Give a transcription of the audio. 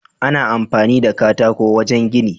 Ana amfani da katako wajan gini